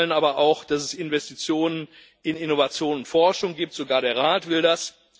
Wir alle wollen aber auch, dass es Investitionen in Innovation und Forschung gibt sogar der Rat will das.